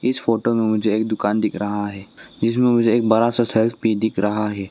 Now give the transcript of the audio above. इस फोटो में मुझे एक दुकान दिख रहा है इसमें मुझे एक बड़ा सा शेल्फ भी दिख रहा है।